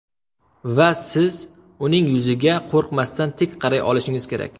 Va siz uning yuziga qo‘rqmasdan tik qaray olishingiz kerak.